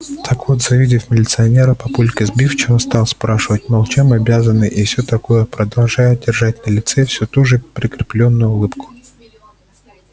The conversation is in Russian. так вот завидев милиционера папулька сбивчиво стал спрашивать мол чем обязаны и всё такое продолжая держать на лице всю ту же прикреплённую улыбку